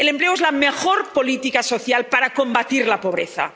El empleo es la mejor política social para combatir la pobreza.